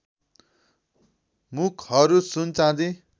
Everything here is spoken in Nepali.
मुखहरू सुन चाँदी